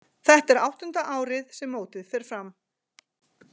Þetta er áttunda árið sem mótið fer fram.